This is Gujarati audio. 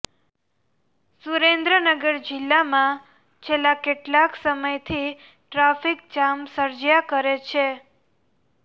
સુરેન્દ્રનગર જિલ્લામાં છેલ્લા કેટલાક સમયથી ટ્રાંફિક જામ સર્જ્યા કરે છે